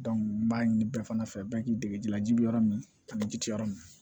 n b'a ɲini bɛɛ fana fɛ bɛɛ k'i dege jilaji bɛ yɔrɔ min kam ji ti yɔrɔ min na